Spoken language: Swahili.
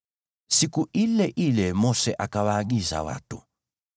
Siku ile ile Mose akawaagiza watu: